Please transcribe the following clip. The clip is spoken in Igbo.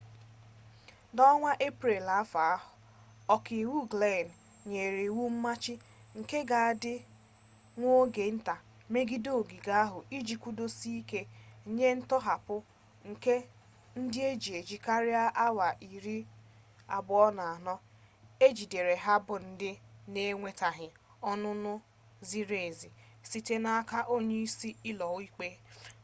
na onwa eprel afo a,oka-iwu glynn nyere iwu mmachi nke ga adi nwa oge-nta megide ogige ahu iji kwudosie-ike nye ntohapu nke ndi eji-eji karia awa 24 ejidere ha bu ndi n’enwetaghi onunu ziri-ezi site n’aka onye-isi ulo-ikpe